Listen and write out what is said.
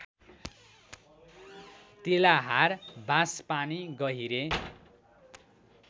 Tilahar Banspani गहिरे